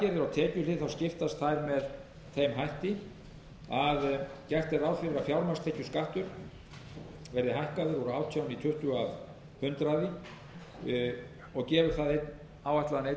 varðandi aðgerðirnar á tekjuhlið skiptast þær með þeim hætti að gert er ráð fyrir að fjármagnstekjuskattur verði hækkaður úr átján í tuttugu af hundraði og gefur það áætlaðan einn